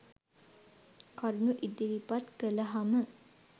කරුණු ඉදිරිපත් කළහම